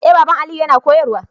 Eh baban Aliyu yana koyarwa